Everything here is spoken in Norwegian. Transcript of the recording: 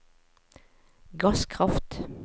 gasskraft